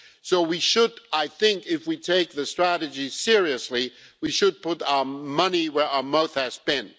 So I think, if we take the strategy seriously, we should put our money where our mouth has been.